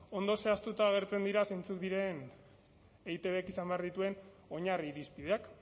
ondo zehaztuta agertzen dira zentzuk diren eitbk izan behar dituen oinarri irizpideak